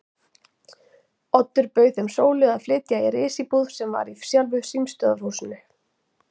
Oddur bauð þeim Sólu að flytja í risíbúð sem var í sjálfu símstöðvarhúsinu.